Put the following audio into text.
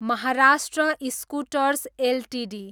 Maharashtra scooters Ltd